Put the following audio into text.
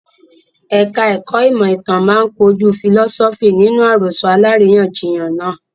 Ẹ̀ka ẹ̀kó ìmọ̀ ìtàn máa kojú fìlọ́sọ́fì nínú àròsọ aláríyànjiyàn náà.